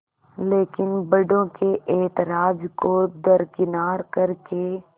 लेकिन बड़ों के ऐतराज़ को दरकिनार कर के